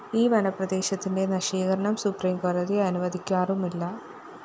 ഈ വനപ്രദേശത്തിന്റെ നശീകരണം സുപ്രീംകോടതി അനുവദിക്കാറുമില്ല